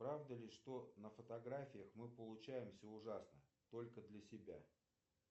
правда ли что на фотографиях мы получаемся ужасно только для себя